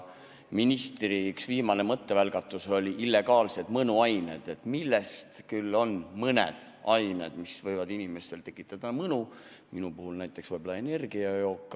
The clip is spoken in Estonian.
Ministri üks viimaseid mõttevälgatusi olid illegaalsed mõnuained, milleks on mõned ained, mis võivad inimestele tekitada mõnu, minu puhul näiteks võib-olla energiajook.